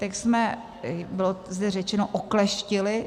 Text jsme, bylo zde řečeno, okleštili.